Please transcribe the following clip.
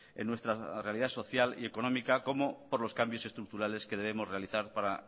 en nuestra realidad social y económica como por los cambios estructurales que debemos realizar para